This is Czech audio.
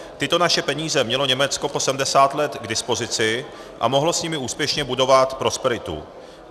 Tyto naše peníze mělo Německo po 70 let k dispozici a mohlo s nimi úspěšně budovat prosperitu.